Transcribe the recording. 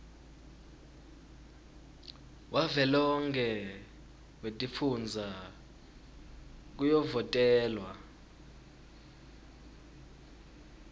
wavelonkhe wetifundza kuyovotelwa